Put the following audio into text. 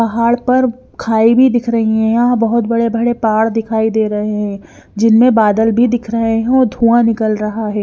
पहाड़ पर खाई भी दिख रही है यहां बहुत बड़े-बड़े पाड़ दिखाई दे रहे हैं जिनमें बादल भी दिख रहे हैं और धुआं निकल रहा है।